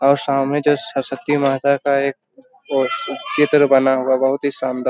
और सामने जो सरस्वती माता का एक पोस चित्र बना हुआ बहुत ही सांदा --